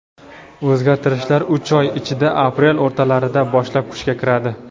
O‘zgartirishlar uch oy ichida — aprel o‘rtalaridan boshlab kuchga kiradi.